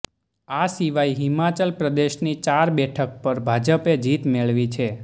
આ સિવાય હિમાચલ પ્રદેશની ચાર બેઠક પર ભાજપે જીત મેળવી છે